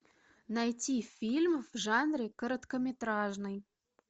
найти фильм в жанре короткометражный